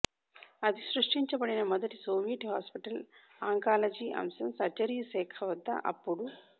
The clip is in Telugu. అది సృష్టించబడిన మొదటి సోవియట్ హాస్పిటల్ ఆంకాలజీ అంశం సర్జరీ శాఖ వద్ద అప్పుడు